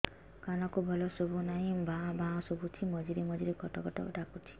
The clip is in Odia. କାନକୁ ଭଲ ଶୁଭୁ ନାହିଁ ଭାଆ ଭାଆ ଶୁଭୁଚି ମଝିରେ ମଝିରେ କଟ କଟ ଡାକୁଚି